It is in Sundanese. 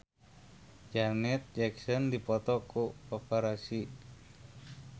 Janet Jackson dipoto ku paparazi